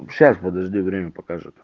сейчас подожди время покажет